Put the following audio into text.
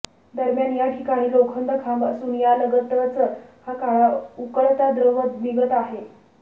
दरम्यान या ठिकाणी लोखंडी खांब असून यालगतच हा काळा उकळता द्रव निघत आहे